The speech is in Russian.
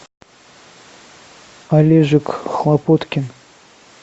олежек хлопоткин